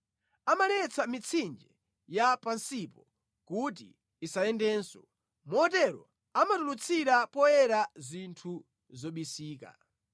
Amaletsa mitsinje ya pansipo kuti isayendenso, motero amatulutsira poyera zinthu zobisika.